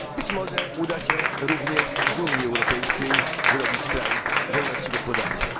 Być może uda się również z Unii Europejskiej zrobić kraj wolności gospodarczej.